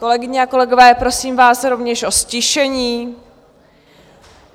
Kolegyně a kolegové, prosím vás rovněž o ztišení.